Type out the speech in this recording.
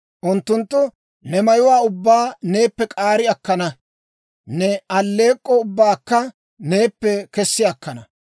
Unttunttu ne mayuwaa ubbaa neeppe k'aari akkana; ne alleek'k'o ubbaakka neeppe kessi akkana.